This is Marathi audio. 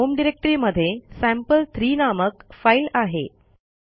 आपल्या होम डिरेक्टरीमध्ये सॅम्पल3 नामक फाईल आहे